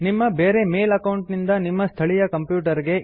ನಿಮ್ಮ ಬೇರೆ mail account ನಿಂದ ನಿಮ್ಮ ಸ್ಥಳೀಯ ಕಂಪ್ಯೂಟರ್ ಗೆ